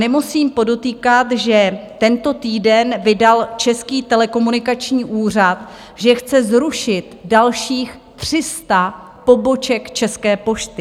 Nemusím podotýkat, že tento týden vydal Český telekomunikační úřad, že chce zrušit dalších 300 poboček České pošty.